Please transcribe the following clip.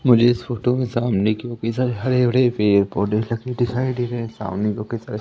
मुझे इस फोटो में सामने कितने सारे हरे भरे पेड़-पौधे लगे दिखाई दे रहे सामने काफी सारे --